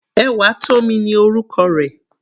Ewatomi ni orúkọ rẹ̀.